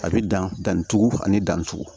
A bɛ danni tugun ani danni cogo